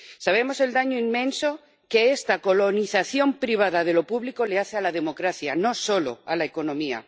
Sabemos el daño inmenso que esta colonización privada de lo público le hace a la democracia, no solo a la economía.